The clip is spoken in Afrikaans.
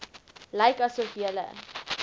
lyk asof julle